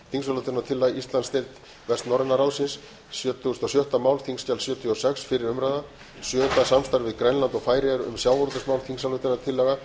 þingsályktunartillaga sjötugasta og sjötta mál þingskjal sjötugasta og sjötta fyrri umræða sjöunda samstarf við grænland og færeyjar um sjávarútvegsmál þingsályktunartillaga